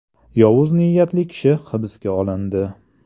Yovuz niyatli kishi hibsga olindi.